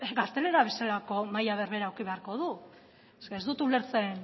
gaztelera bezalako maila berbera eduki beharko du eske ez dut ulertzen